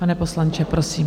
Pane poslanče, prosím.